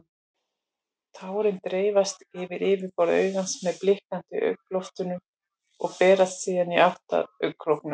Tárin dreifast yfir yfirborð augans með blikki augnlokanna og berast síðan í átt að augnkrókum.